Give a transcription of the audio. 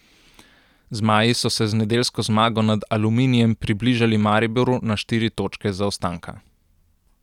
Zmaji so se z nedeljsko zmago nad Aluminijem približali Mariboru na štiri točke zaostanka.